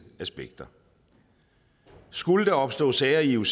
aspekter skulle der opstå sager i ioc